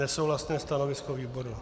Nesouhlasné stanovisko výboru.